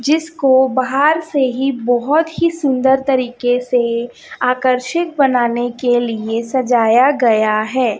जिसको बाहर से ही बहोत ही सुंदर तरीके से आकर्षित बनाने के लिए सजाया गया है।